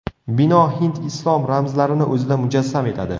Bino hind-islom ramzlarini o‘zida mujassam etadi.